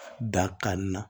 Dakan na